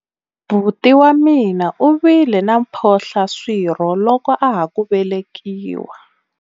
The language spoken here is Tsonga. buti wa mina u vile na mphohlaswirho loko a ha ku velekiwa